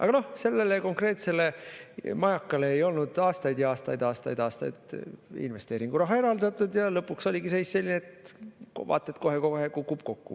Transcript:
Aga noh, sellele konkreetsele majakale ei olnud aastaid-aastaid investeeringuraha eraldatud ja lõpuks oligi seis selline, et vaat et kohe-kohe kukub kokku.